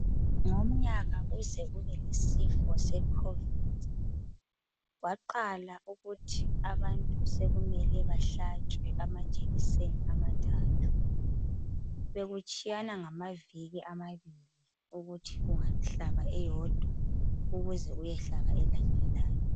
Ngomnyaka kuze kube lesifo se COVID.Kwaqala ukuthi abantu sokumele bahlatshwe amajekiseni amathathu. Bekutshiyana ngamaviki amabili ,ukuthi ungahlaba eyodwa ukuze uyehlaba elandelayo.